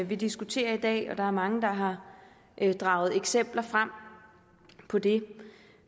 vi diskuterer i dag og der er mange der har draget eksempler frem på det